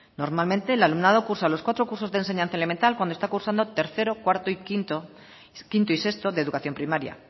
normalmente el alumnado cursa los cuatro cursos de enseñanza elemental cuando está cursando tercero cuarto y quinto y quinto y sexto de educación primaria